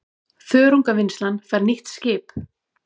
Þörungavinnslan fær nýtt skip